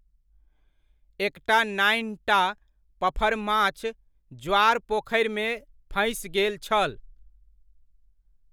एकटा नान्हिटा पफरमाछ ज्वार पोखरिमे फँसि गेल छल।